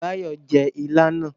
Báyọ̀ jẹ́ ilá náà